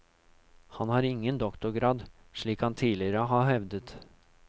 Han har ingen doktorgrad, slik han tidligere har hevdet.